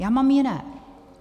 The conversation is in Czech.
Já mám jiné.